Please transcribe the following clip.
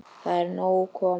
Það er nóg komið.